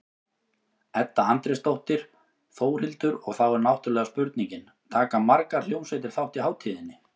Edda Andrésdóttir: Þórhildur, og þá er náttúrulega spurningin, taka margar hljómsveitir þátt í hátíðinni?